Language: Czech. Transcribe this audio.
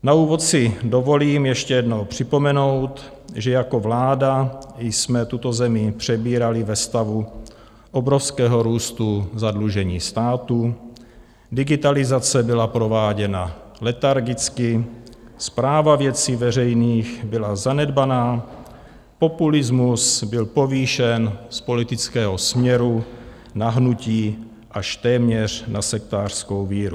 Na úvod si dovolím ještě jednou připomenout, že jako vláda jsme tuto zemi přebírali ve stavu obrovského růstu zadlužení státu, digitalizace byla prováděna letargicky, správa věcí veřejných byla zanedbaná, populismus byl povýšen z politického směru na hnutí až téměř na sektářskou víru.